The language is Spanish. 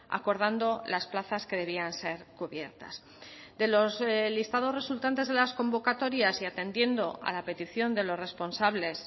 acordando las plazas que debían ser cubiertas de los listados resultantes de las convocatorias y atendiendo a la petición de los responsables